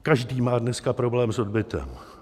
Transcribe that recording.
Každý má dneska problém s odbytem.